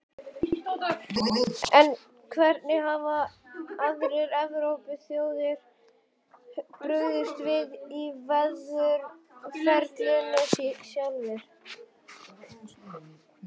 En hvernig hafa aðrar Evrópuþjóðir brugðist við í viðræðuferlinu sjálfu?